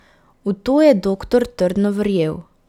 V to je doktor trdno verjel.